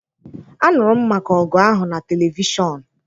Aṅụrụ m maka ọgụ ahụ na televishọn.